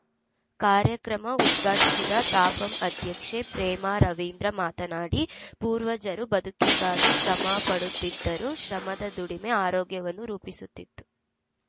ಕಾರ್ಯಕ್ರಮ ಉದ್ಘಾಟಿಸಿದ ತಾಪಂ ಅಧ್ಯಕ್ಷೆ ಪ್ರೇಮಾ ರವೀಂದ್ರ ಮಾತನಾಡಿ ಪೂರ್ವಜರು ಬದುಕಿಗಾಗಿ ಶ್ರಮ ಪಡುತ್ತಿದ್ದರು ಶ್ರಮದ ದುಡಿಮೆ ಆರೋಗ್ಯವನ್ನು ರೂಪಿಸುತ್ತಿತ್ತು